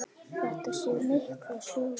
Þetta segir mikla sögu.